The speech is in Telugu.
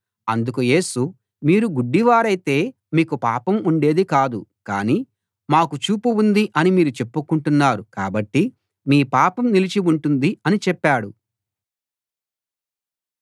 అందుకు యేసు మీరు గుడ్డివారైతే మీకు పాపం ఉండేది కాదు కానీ మాకు చూపు ఉంది అని మీరు చెప్పుకుంటున్నారు కాబట్టి మీ పాపం నిలిచి ఉంటుంది అని చెప్పాడు